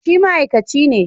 Shi ma'aikaci ne